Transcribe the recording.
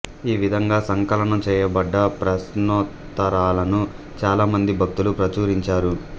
ఈ విధంగా సంకలనం చేయబడ్డ ప్రశ్నోత్తరాలను చాలా మంది భక్తులు ప్రచురించారు